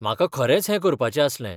म्हाका खरेंच हें करपाचें आसलें.